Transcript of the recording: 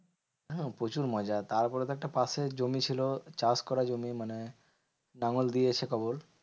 হ্যাঁ প্রচুর মজা। তারপরে তো একটা পাশে জমি ছিল চাষ করা জমি, মানে লাঙ্গল দিয়ে